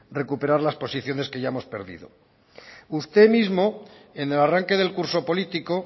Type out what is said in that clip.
recuperar las posiciones que ya hemos perdido usted mismo en el arranque del curso político